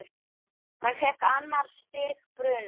Hann fékk annars stigs bruna.